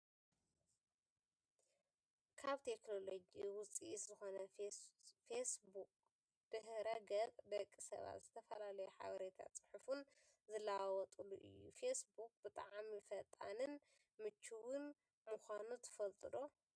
ካብ ቴክኖሎጂ ውፅኢት ዝኮነ ፌስ ቡክ ድህረገፅ ደቂ ሰባት ዝተፈላለዩ ሓበሬታን ፅሑፍን ዝለዋወጥሉ እዩ። ፌስ ቡክ ብጣዕሚ ፈጣንን ምችውን ምኳኑ ትፈልጡ ዶ?